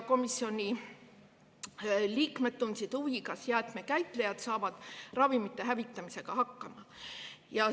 Komisjoni liikmed tundsid huvi, kas jäätmekäitlejad saavad ravimite hävitamisega hakkama.